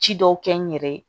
Ci dɔw kɛ n yɛrɛ ye